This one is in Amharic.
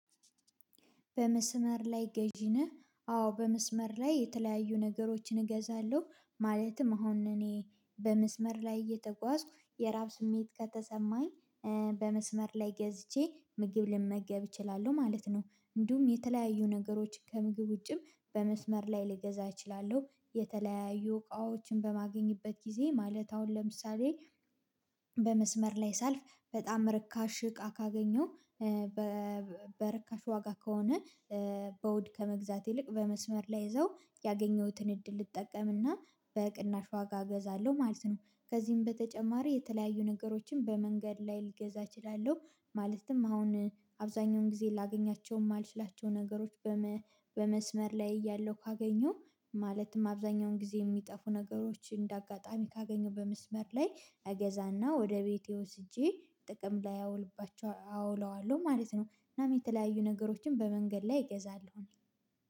በመስመር ላይ ገዢ ነህ? አዎ በመስመር ላይ የተለያዩ ነገሮችን እገዛለሁ። ማለትም አሁን እኔ በመስመር ላይ እየተጓዝኩ የራብ ስሜት ከተሰማኝ በመስመር ላይ ገዝቼ ምግብ ልመገብ እችላለሁ ማለት ነው። እንዲሁም የተለያዩ ነገሮች ከምግብ ውጪም በመስመር ልገዛ እችላለሁ የተለያዩ እቃዎችን በማገኝበት ጊዜ ማለት አሁን ለምሳሌ በመስመር ላይ ሳልፍ በጣም ርካሽ እቃ ካገኘው በርካሽ ዋጋ ከሆነ በውድ ከመግዛት ይልቅ በመስመር ላይ ይዘው ያገኘሁትን እድል ልጠቀምና በቅናሽ ዋጋ እገዛለሁ ማለት ነው። ከዚህም በተጨማሪ የተለያዩ ነገሮችን በመንገድ ላይ ልገዛ እችላለሁ። ማለትም አሁን አብዛኛውን ጊዜ ላገኛቸው የማልችላቸው ነገሮች በመስመር ላይ እያለሁ ካገኘው ማለትም አብዛኛውን ጊዜ የሚጠፉ ነገሮችን እንደ አጋጣሚ ካገኘው በመስመር ላይ እገዛና ወደ ቤቴ ወስጄ ጥቅም ላይ አውልባችሁ አውለዋለሁ ማለት ነው። እናም የተለያዩ ነገሮችን በመንገድ ላይ እገዛለሁኝ